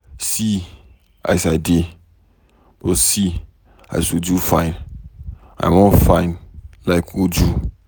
See as I dey, but see, as Uju fine. I wan fine like Uju.